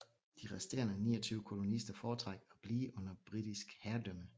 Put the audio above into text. De resterende 29 kolonister foretrak at blive under britisk herredømme